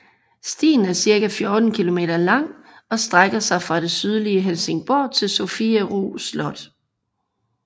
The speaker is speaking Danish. Stien er cirka 14 kilometer lang og strækker sig fra det sydlige Helsingborg til Sofiero Slot